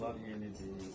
bunlar yenidir,